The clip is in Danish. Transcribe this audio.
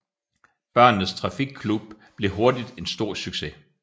Børnenes Trafikklub blev hurtigt en stor succes